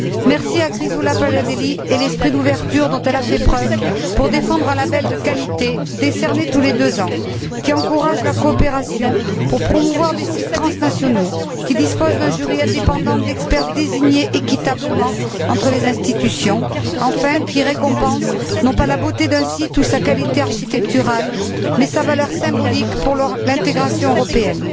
Merci à Chrysoula Paliadeli et l'esprit d'ouverture dont elle a fait preuve pour défendre un label de qualité décerné tous les deux ans, qui encourage la coopération pour promouvoir des sites transnationaux, qui dispose d'un jury indépendant d'experts désignés équitablement entre les instituions, enfin qui récompense non pas la beauté d'un site ou sa qualité architecturale mais sa valeur symbolique pour l'intégration européenne.